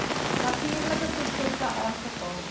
natuurlike prosesse aangevul